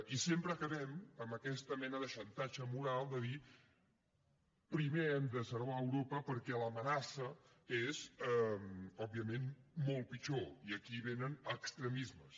i sempre acabem amb aquesta mena de xantatge moral de dir primer hem de servar europa perquè l’amenaça és òbviament molt pitjor i aquí venen extremismes